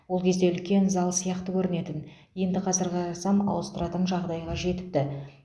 ол кезде үлкен зал сияқты көрінетін енді қазір қарасам ауыстыратын жағдайға жетіпті